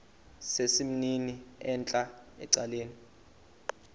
sesimnini entla ecaleni